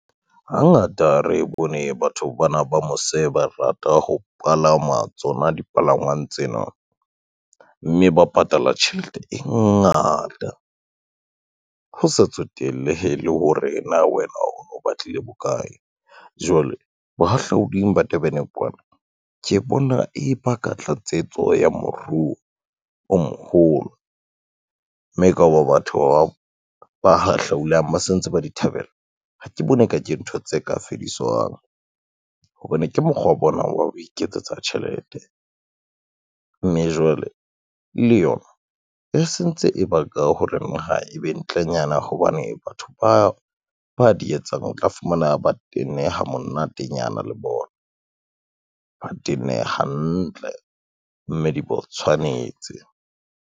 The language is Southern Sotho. Hangata re bone batho bana ba mose ba rata ho palama tsona dipalangwang tsena, mme ba patala tjhelete e ngata, ho sa tsotellehe le hore na wena o batlile bokae. Jwale bohahlauding ba Durban kwana ke bona e ba ka tlatsetso ya moruo o moholo, mme ka ho ba batho ba hahlaulang ba se ntse ba di thabela, ha ke bone e ka ke ntho tse ka fediswang, hobane ke mokgwa wa bona wa ho iketsetsa tjhelete. Mme jwale le yona e sentse e baka hore naha e be ntlenyana hobane batho ba di etsang o tla fumana ba tenne ha monatenyana le bona ba tenne ha hantle mme di bo tshwanetse.